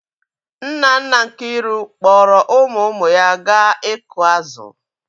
Nna nna Nkiru kpọọrọ ụmụ ụmụ ya gaa ịkụ azụ̀.